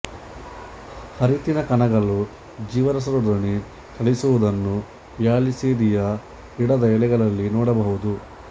ಹರಿತ್ತಿನ ಕಣಗಳು ಜೀವರಸದೊಡನೆ ಚಲಿಸುವುದನ್ನು ವ್ಯಾಲಿಸ್ನೇರಿಯ ಗಿಡದ ಎಲೆಗಳಲ್ಲಿ ನೋಡಬಹುದು